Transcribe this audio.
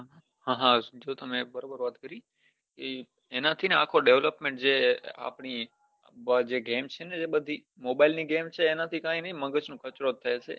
હા તમે બરાબર વાત કરી એનાં થી ને અખો development જે આપડી જે game છે ને જે બધી mobile ની game ચર એનાં થી કઈ ની મગજ નો કચરો જ થાય છે